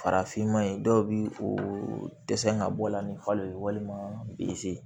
Farafinma in dɔw bi o dɛsɛ ka bɔ a la ni falo ye walima bzi